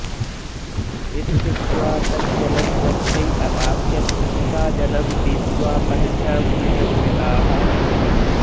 इत्युक्त्वा तज्जलं तस्यै अपास्यत् सा जलं पीत्वा पद्भ्यां गृहङ्गताः